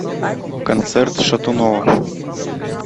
концерт шатунова